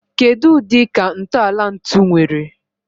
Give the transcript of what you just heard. Kedu udi ka ntọala ntu nwere?